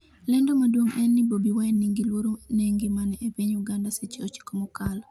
lendo maduong' en ni Bobi Wine 'ni gi luoro ne ngimane' e piny Uganda seche 9 mokalo